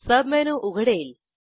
submenu उघडेल